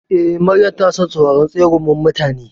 Eh, Maryam tana son sauraron tsegumin mutane.